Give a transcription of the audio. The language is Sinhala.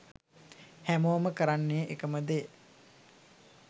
හැමෝම කරන්නෙ එකම දේ.